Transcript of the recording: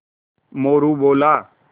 मोरू बोला